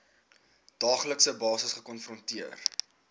daaglikse basis gekonfronteer